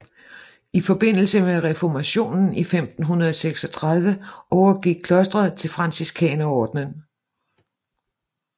I forbindelse med reformationen i 1536 overgik klostret til Franciskanerordenen